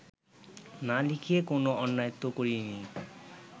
না লিখে কোন অন্যায় তো করিনি